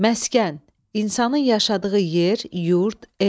Məskən – insanın yaşadığı yer, yurt, ev.